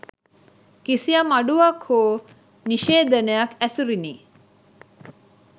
කිසියම් අඩුවක් හෝ නිශේධනයක් ඇසුරිනි